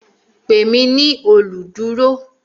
Pè mí ní olùdúró